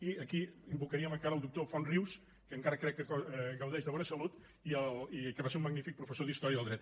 i aquí invocaríem encara el doctor font rius que encara crec que gaudeix de bona salut i que va ser un magnífic professor d’història del dret